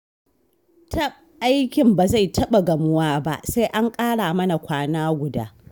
Taɓ! Aikin ba zai taɓa gamuwa ba, sai an ƙara mana kwana guda